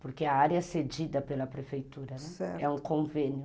Porque a área é cedida pela prefeitura, né, certo, é um convênio.